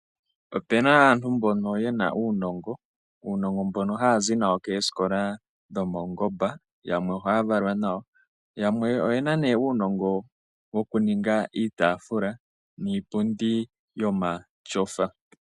Opu na aantu mboka ye na uunongo mboka ya za nawo koosikola dhomaungomba yamwe ohaa valwa nawo. Yamwe oye na uunonga wokuninga iitafula niipundi yomatyofa.